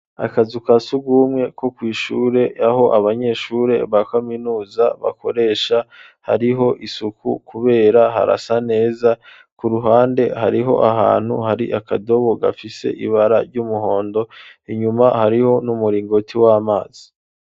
Akazu ka surwumwe, ko kw'ishure, aho abanyeshure, ba kaminuza, bakoresha, hariho isuku, kubera harasa neza; ku ruhande, hariho ahantu, hari akadobo, gafise ibara, ry'umuhondo; inyuma, hariho n'umuringoti w'amazi.